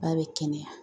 Ba bɛ kɛnɛya